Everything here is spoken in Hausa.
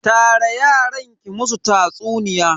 Tara yaran ki musu tatsuniya.